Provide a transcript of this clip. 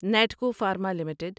Natco pharma limited